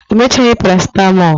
o mechaghi paracetmol